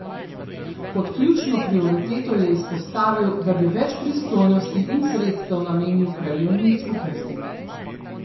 Kot ključno prioriteto je izpostavil, da bi več pristojnosti in sredstev namenil krajevnim skupnostim.